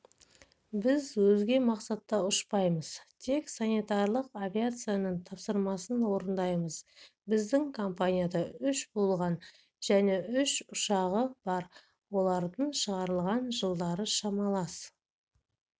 біз өзге мақсатта ұшпаймыз тек санитарлық авиацияның тапсырысын орындаймыз біздің компанияда үш болған және үш ұшағы бар олардың шығарылған жылдары шамалас